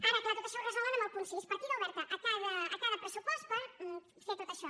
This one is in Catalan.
ara clar tot això ho resolen amb el punt sis partida oberta a cada pressupost per fer tot això